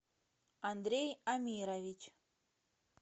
андрей амирович